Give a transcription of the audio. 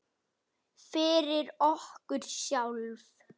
Fyrir okkur sjálf.